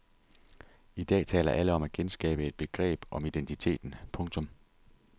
I dag taler alle om at genskabe et begreb om identiteten. punktum